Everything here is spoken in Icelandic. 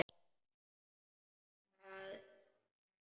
Það er hefð!